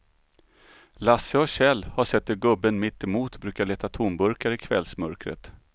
Lasse och Kjell har sett hur gubben mittemot brukar leta tomburkar i kvällsmörkret.